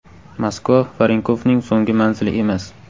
Moskva Varenkovning so‘nggi manzili emas.